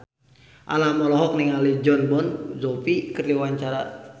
Alam olohok ningali Jon Bon Jovi keur diwawancara